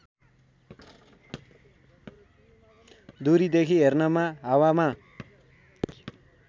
दूरीदेखि हेर्नमा हावामा